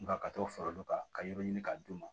Nga ka t'o fara olu kan ka yɔrɔ ɲini ka d' u ma